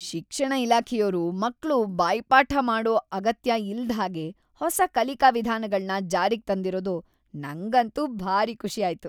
ಶಿಕ್ಷಣ ಇಲಾಖೆಯೋರು ಮಕ್ಳು ಬಾಯ್ಪಾಠ ಮಾಡೋ ಅಗತ್ಯ ಇಲ್ದ್‌ಹಾಗೆ ಹೊಸ ಕಲಿಕಾ ವಿಧಾನಗಳ್ನ ಜಾರಿಗ್‌ ತಂದಿರೋದು ನಂಗಂತೂ ಭಾರೀ ಖುಷಿ ಆಯ್ತು.